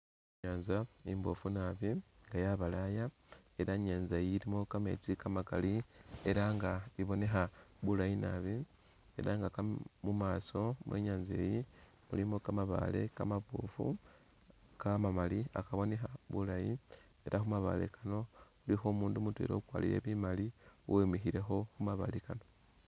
I'nyanza imboofu naabi nga yabalaya ela i'nyanza eyi ilimo kametsi kamakali ela nga i'bonekha bulayi naabi ela nga mumaaso mwenyaza eyi mulimo kamabaale kamaboofu kamamaali kakabonekha bulayi ela khumabaale kano ilikho umundu mutwela ukwalire bimaali uwimikhilekho khumabaale kano